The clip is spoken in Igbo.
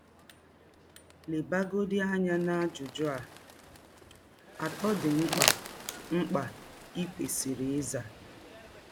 Lebagọdị anya n’ajụjụ atọ dị mkpa mkpa i kwesịrị ịza.